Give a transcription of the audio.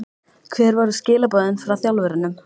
Hver voru skilaboðin frá þjálfurunum?